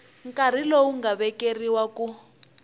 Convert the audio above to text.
nkarhi lowu nga vekeriwa ku